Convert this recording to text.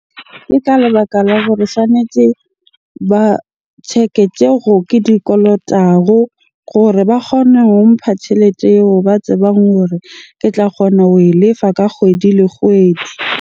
Ke ka lebaka la hore tshwanetje ba check-e tsego ke di kolotago gore ba kgone ho mpha tjhelete eo ba tsebang hore ke tla kgona ho e lefa ka kgwedi le kgwedi.